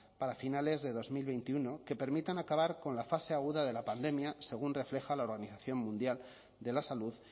para finales de dos mil veintiuno que permitan acabar con la fase aguda de la pandemia según refleja la organización mundial de la salud